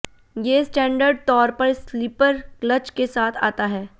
ये स्टैंडर्ड तौर पर स्लीपर क्लच के साथ आता है